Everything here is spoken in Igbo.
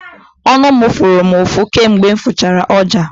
Ọnụ fụrụ m ụfụ kamgbe m fụchara ọja.